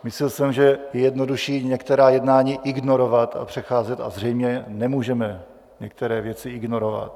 Myslel jsem, že je jednodušší některá jednání ignorovat a přecházet, a zřejmě nemůžeme některé věci ignorovat.